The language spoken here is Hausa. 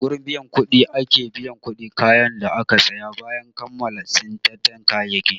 A gurin biyan kuɗi ake biyan kuɗin kayan da aka saya bayan kammala tsintan kayayyaki.